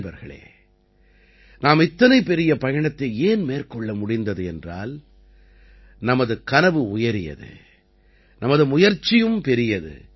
நண்பர்களே நாம் இத்தனை பெரிய பயணத்தை ஏன் மேற்கொள்ள முடிந்தது என்றால் நமது கனவுயரியது நமது முயற்சியும் பெரியது